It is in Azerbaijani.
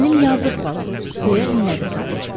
Mənim yazıq balam, deyə inlədi sadəcə.